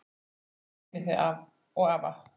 Guð geymi þig og afa.